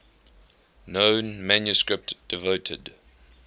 known manuscript devoted